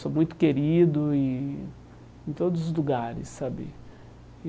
Sou muito querido e em todos os lugares sabe.